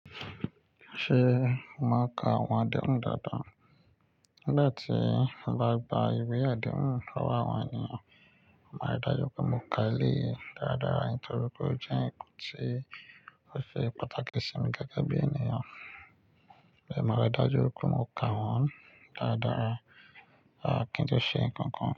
Ṣé màá ka àwọn àdehun dáadáa? Nigbati n bá gba ìwé àdehun lọ́wọ́ àwọn ènìyàn, màá ri dájú pé mo ka eleyi dáadáa, nítorí pé ó jẹ́ nǹkan tí ó ṣe pàtàkì sí mi gẹ́gẹ́ bí ènìyàn. Ẹ̀, màá ri dájú pé mo ka wọ́n dáadáa. A kì í jẹ́ ṣe nǹkan kan.